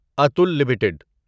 Atul limited